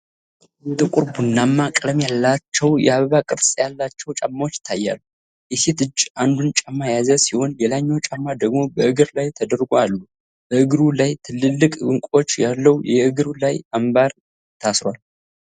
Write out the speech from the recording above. ጥቁር ቡናማ ቀለም ያላቸው የአበባ ቅርጽ ያላቸው ጫማዎች ይታያሉ። የሴት እጅ አንዱን ጫማ የያዘ ሲሆን፣ ሌላኛው ጫማ ደግሞ በእግር ላይ ተደርጎ አሉ። በእግሩ ላይ ትልልቅ ዕንቁዎች ያለው የእግር ላይ አምባር ታስሯል።